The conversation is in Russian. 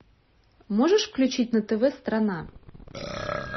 можешь включить на тв страна